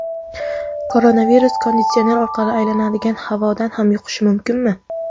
Koronavirus konditsioner orqali aylanadigan havodan ham yuqishi mumkinmi?